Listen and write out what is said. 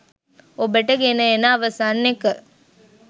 ඔබට ගෙන එන අවසන් එක.